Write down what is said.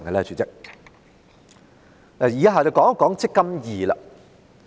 主席，以下我會討論"積金易"。